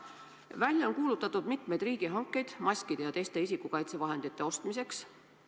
Välja on kuulutatud mitmeid riigihankeid maskide ja teiste isikukaitsevahendite ostmiseks.